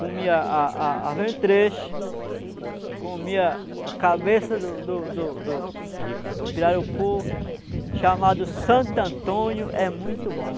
Comia a a a a ventreche, comia a cabeça do do do do do pirarucu chamado Santo Antônio, é muito bom.